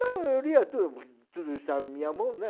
Não, eu lia tudo, porque tudo estava na minha mão, né?